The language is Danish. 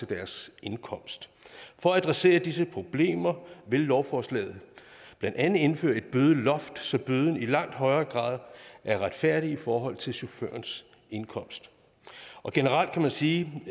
deres indkomst for at adressere disse problemer vil lovforslaget blandt andet indføre et bødeloft så bøden i langt højere grad er retfærdig i forhold til chaufførens indkomst generelt kan man sige